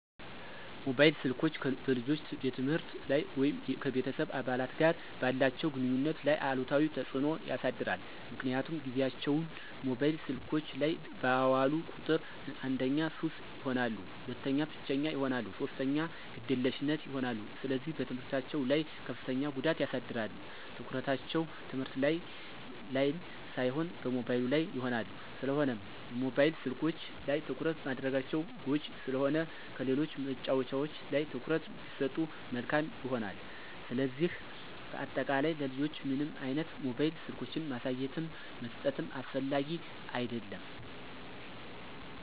ሞባይል ስልኮች በልጆች የትምህርት ላይ ወይም ከቤተሰብ አባላት ጋር ባላቸው ግንኙነት ላይ አሉታዊ ተጽዕኖ ያሳድራል ምክንያቱም ጊዚያቸውን ሞባይል ስልኮች ላይ ባዋሉ ቁጥር አንደኛ ሱሰኛ ይሆናሉ፣ ሁለተኛ ብቸኛ ይሆናሉ፣ ሶስተኛ ግዴለሽ ይሆናሉ፣ ስለዚህ በትምህርታቸው ላይ ከፍተኛ ጉዳት ያሳድራል፣ ትኩረታቸው ትምህርት ላን ሳይሆን ሞባይሉ ላይ ይሆናል። ስለሆነም የሞባይል ስልኮች ላይ ትኩረት ማድረጋቸው ጎጅ ስለሆነ ከሌሎች መጫዎቻዎች ላይ ትኩረት ቢሰጡ መልካም ይሆናል። ስለዚህ በአጠቃላይ ለልጆች ምንም አይነት ሞባይል ስልኮችን ማሳየትም መስጠትም አስፈላጊ አደለም።